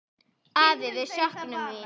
Afi, við söknum þín.